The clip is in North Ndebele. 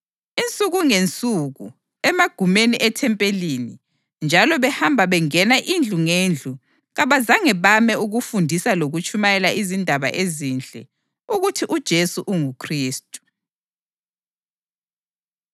Insuku ngensuku, emagumeni ethempeli, njalo behamba bengena indlu ngendlu, kabazange bame ukufundisa lokutshumayela izindaba ezinhle ukuthi uJesu unguKhristu.